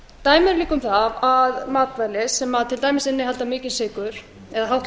líka um það að matvæli sem til dæmis innihalda mikinn sykur eða hátt